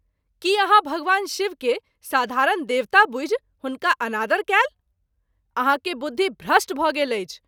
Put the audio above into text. की आहाँ भगवान शिव के साधारण देवता बुझि हुनका अनादर कएल ? आहाँ के बुद्धि भ्रष्ट भ’ गेल अछि।